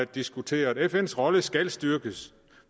diskuteret fns rolle skal styrkes